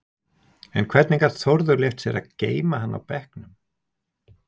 En hvernig gat Þórður leyft sér að geyma hann á bekknum?